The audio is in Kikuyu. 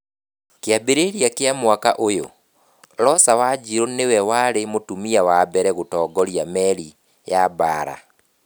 Kĩambĩrĩria-inĩ kĩa mwaka ũyũ, Rosa Wanjiru nĩwe warĩ mũtumia wa mbere gũtongoria meri ya mbaara.